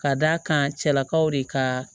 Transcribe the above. Ka d'a kan cɛlakaw de ka